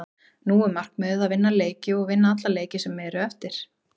Nú er markmiðið að vinna leiki og að vinna alla leiki sem eru eftir.